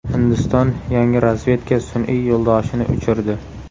Hindiston yangi razvedka sun’iy yo‘ldoshini uchirdi.